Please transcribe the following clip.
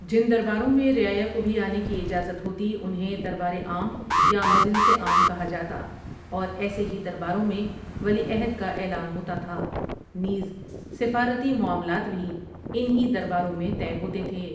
جن درباروں میں رعایا کو بھی آنے کی اجازت ہوتی انہیں دربارعام یا مجلس عام کہا جاتااور ایسے ہی درباروں میں ولیعہد کا اعلان ہوتا تھا، نیز سفارتی معاملات بھی ان ہی درباروں میں طے ہوتے تھے.